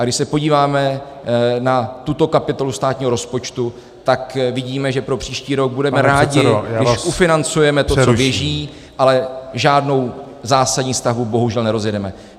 A když se podíváme na tuto kapitolu státního rozpočtu, tak vidíme, že pro příští rok budeme rádi , když ufinancujeme to, co běží, ale žádnou zásadní stavbu bohužel nerozjedeme.